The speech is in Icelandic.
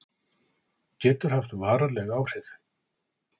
Getur haft varanleg áhrif